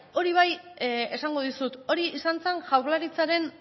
hori bai esango dizut hori izan zen jaurlaritzaren